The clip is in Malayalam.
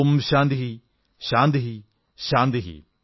ഓം ശാന്തിഃ ശാന്തിഃ ശാന്തിഃ